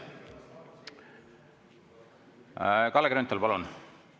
Kalle Grünthal, palun!